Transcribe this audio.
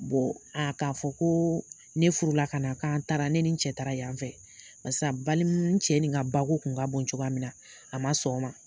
a k'a fɔ ko ne furula ka na k'an taara ne ni n cɛ taara yan fɛ balima n cɛ nin ka bako tun ka bon cogoya min na a ma sɔn o ma